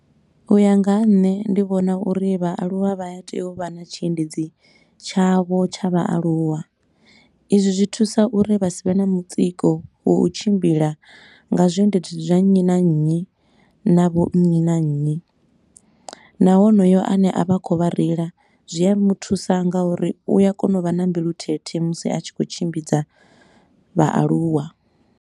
U ya nga ha nṋe ndi vhona uri vhaaluwa vha ya tea u vha na tshiendedzi tshavho tsha vhaaluwa. Izwi zwi thusa uri vha sa vhe na mutsiko ha u tshimbila nga zwiendedzi zwa nnyi na nnyi na vho nnyi na nnyi. Na honoyo a ne a vha khou vha reila zwi a muthusa nga uri u ya kona u vha na mbilu thethe musi a tshi khou tshimbidza vhaaluwa.